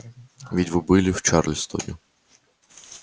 ведь вы были в чарльстоне